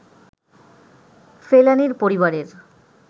ফেলানীর পরিবারের